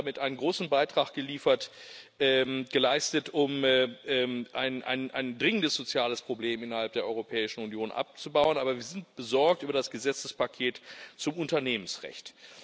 Wir haben damit einen großen Beitrag geleistet, um ein dringendes soziales Problem innerhalb der Europäischen Union abzubauen. Aber wir sind besorgt über das Gesetzespaket zum Unternehmensrecht.